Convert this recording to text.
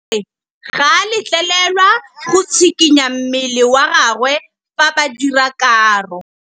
Modise ga a letlelelwa go tshikinya mmele wa gagwe fa ba dira karô.